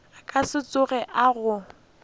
ka se tsoge a go